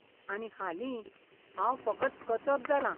आनी हालीं, हांव फकत कचप जालां!